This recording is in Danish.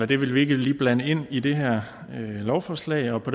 det vil vi ikke lige blande ind i det her lovforslag og på